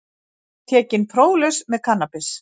Tekinn próflaus með kannabis